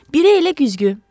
Biri elə güzgü.